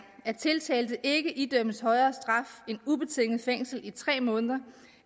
at tiltalte ikke idømmes højere straf end ubetinget fængsel i tre måneder